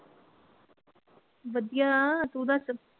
ਵਧੀਆ, ਤੂੰ ਦਸ?